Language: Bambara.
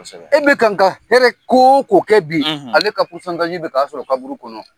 Kosɛbɛ. E bɛ kan ka hɛrɛ k'o ko kɛ bi, ale ka k'a sɔrɔ kaburu kɔnɔ.